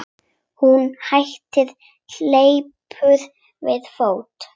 En hún hleypur við fót.